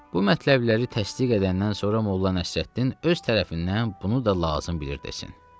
Bu mətləbləri təsdiq edəndən sonra Molla Nəsrəddin öz tərəfindən bunu da lazım bilir desin.